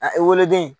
A ekɔliden